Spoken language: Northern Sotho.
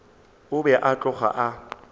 o be a tloga a